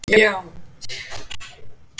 Amma kom oft til okkar.